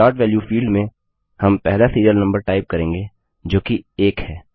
start value field में हम पहला सीरियल नम्बर टाइप करेंगे जो कि 1 है